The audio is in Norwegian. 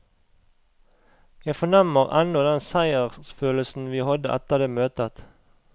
Jeg fornemmer ennå den seiersfølelsen vi hadde etter det møtet.